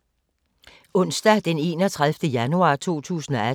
Onsdag d. 31. januar 2018